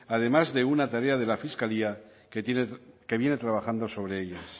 además de una tarea de la fiscalía que viene trabajando sobre ellas